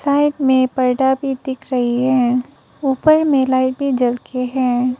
Side में पर्दा भी दिख रही है ऊपर में लाइट भी जल के है।